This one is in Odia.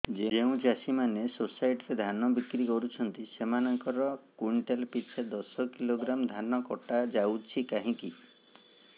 ଯେଉଁ ଚାଷୀ ମାନେ ସୋସାଇଟି ରେ ଧାନ ବିକ୍ରି କରୁଛନ୍ତି ସେମାନଙ୍କର କୁଇଣ୍ଟାଲ ପିଛା ଦଶ କିଲୋଗ୍ରାମ ଧାନ କଟା ଯାଉଛି କାହିଁକି